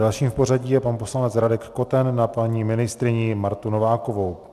Další v pořadí je pan poslanec Radek Koten na paní ministryni Martu Novákovou.